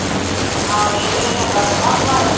ਆਹੋ ਇਹ ਕਿਹੜਾ ਚੰਗਾ ਥੋੜਾ ਹੁੰਦਾ ਆ।